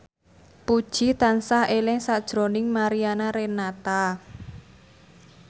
Puji tansah eling sakjroning Mariana Renata